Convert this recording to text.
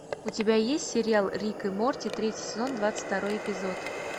у тебя есть сериал рик и морти третий сезон двадцать второй эпизод